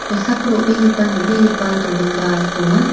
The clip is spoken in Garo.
kosako ro·begipa nambegipa dolongba donga.